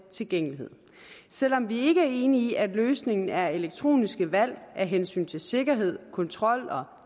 tilgængelighed selv om vi ikke er enig i at løsningen er elektroniske valg af hensyn til sikkerhed kontrol og